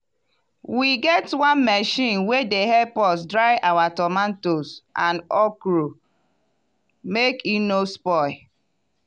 we get one machine wey dey help us dry our tomatoes and okro make e no spoil.